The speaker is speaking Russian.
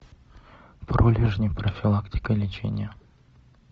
пролежни профилактика лечения